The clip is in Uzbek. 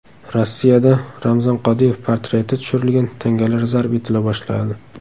Rossiyada Ramzan Qodirov portreti tushirilgan tangalar zarb etila boshladi.